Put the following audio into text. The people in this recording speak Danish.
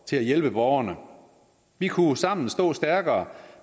til at hjælpe borgerne vi kunne sammen stå stærkere